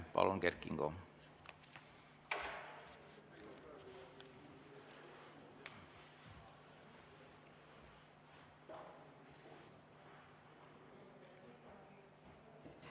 Palun, Kert Kingo!